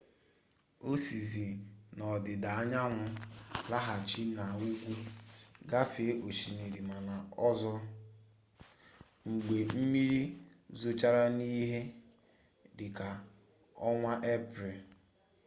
o sizie n'ọdịda anyanwụ laghachi n'ugwu gafee osimiri mara ọzọ mgbe mmiri zochara n'ihe dị ka ọnwa eprel